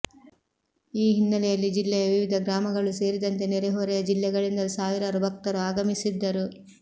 ಈ ಹಿನ್ನೆಲೆಯಲ್ಲಿ ಜಿಲ್ಲೆಯ ವಿವಿಧ ಗ್ರಾಮಗಳು ಸೇರಿದಂತೆ ನೆರೆಹೊರೆಯ ಜಿಲ್ಲೆಗಳಿಂದಲೂ ಸಾವಿರಾರು ಭಕ್ತರು ಆಗಮಿಸಿದ್ದರು